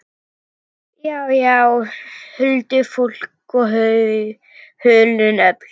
Já, já, huldufólk og hulin öfl.